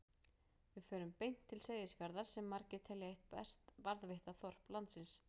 Við förum beint til Seyðisfjarðar sem margir telja eitt best varðveitta þorp landsins.